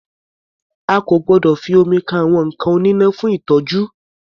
A kò gbọdọ̀ fi omi kan àwọn nǹkan oníná fún ìtọ́jú.